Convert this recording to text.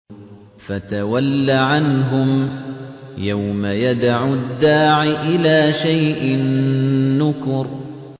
فَتَوَلَّ عَنْهُمْ ۘ يَوْمَ يَدْعُ الدَّاعِ إِلَىٰ شَيْءٍ نُّكُرٍ